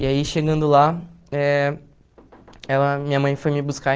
E aí, chegando lá, eh ela minha mãe foi me buscar.